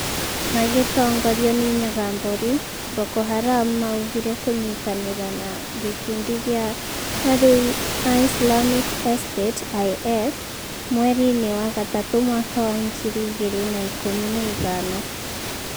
Magĩtongorĩo nĩ Nyaga Mboru, Boko Haram maũgire kũnyitanĩra na gĩkundi gĩa arũi a Islamic State (IS) mweri-inĩ wa gatatũ mwaka wa ngiri igĩrĩ na ikũmi na ithano